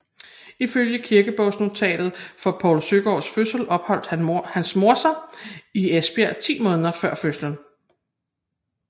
Ifølge kirkebogsnotatet for Poul Søgaards fødsel opholdt hans mor sig i Esbjerg ti måneder før fødslen